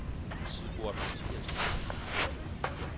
Sigurd Mathiassen